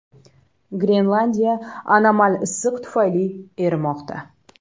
Grenlandiya anomal issiq tufayli erimoqda.